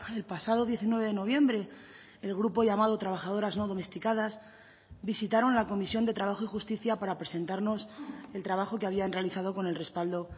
el pasado diecinueve de noviembre el grupo llamado trabajadoras no domesticadas visitaron la comisión de trabajo y justicia para presentarnos el trabajo que habían realizado con el respaldo